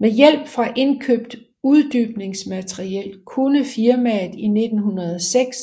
Med hjælp fra indkøbt uddybningsmateriel kunne firmaet i 1906